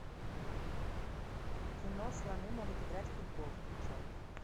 кино слоны могут играть в футбол включай